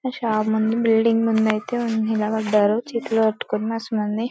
shop ముందు building ముందు అయితే నిలబడ్డారు చేతులు కట్టుకొని --